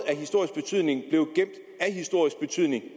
af historisk betydning